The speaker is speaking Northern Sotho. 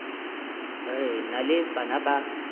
re na le bana ba